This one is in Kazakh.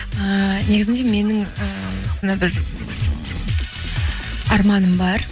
ііі негізінде менің і сондай бір арманым бар